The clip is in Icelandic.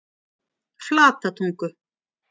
Flatatungu